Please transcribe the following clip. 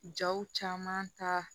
Jaw caman ta